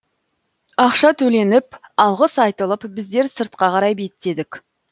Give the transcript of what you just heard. ақша төленіп алғыс айтылып біздер сыртқа қарай беттедік